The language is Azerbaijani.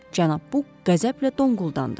Cənab Buk qəzəblə donquldandı.